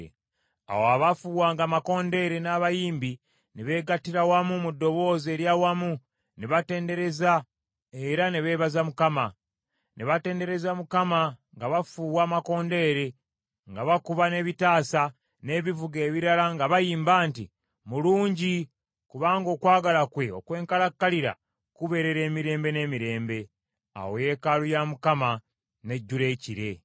Awo abaafuuwanga amakondeere n’abayimbi ne beegattira wamu mu ddoboozi ery’awamu ne batendereza era ne beebaza Mukama . Ne batendereza Mukama nga bafuuwa amakondeere, nga bakuba n’ebitaasa, n’ebivuga ebirala nga bayimba nti, “Mulungi, kubanga okwagala kwe okwenkalakkalira kubeerera emirembe n’emirembe.” Awo yeekaalu ya Mukama n’ejjula ekire.